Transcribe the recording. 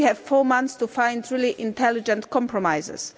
We have four months to find truly intelligent compromises.